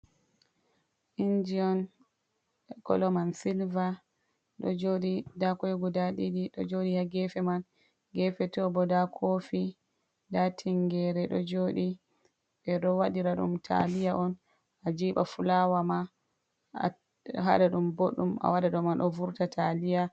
Inji'on koloman Silva, ɗo joɗi nda kwai guda ɗiɗi ɗo joɗi ha gefe man. Gefe tobo nda Kofi nda tingere do joɗi. Ɓe ɗo waɗira ɗum Taliya'on ajiɓa fulawa ma hat haɗa ɗum bodɗum awaɗa ɗo man ɗo Vurta taliya.